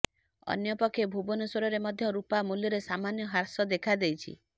ଅନ୍ୟପକ୍ଷେ ଭୁବନେଶ୍ୱରରେ ମଧ୍ୟ ରୁପା ମୂଲ୍ୟରେ ସାମାନ୍ୟ ହ୍ରାସ ଦେଖାଦେଇଛି